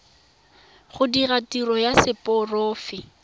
go dira tiro ya seporofe